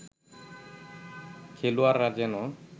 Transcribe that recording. খেলোয়াড়রা যেন